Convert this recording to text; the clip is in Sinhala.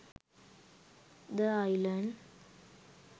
the island